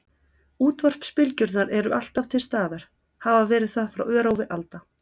Útvarpsbylgjurnar eru alltaf til staðar, hafa verið það frá örófi alda.